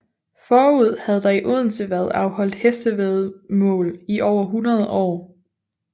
Forud havde der i Odense været afholdt hestevæddemål i over 100 år